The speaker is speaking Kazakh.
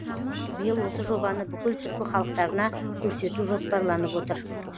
биыл осы жобаны бүкіл түркі халықтарына көрсету жоспарланып отыр